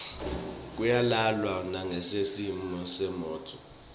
kuyalanjwa nasingesihle simo semnotfo